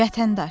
Vətəndaş.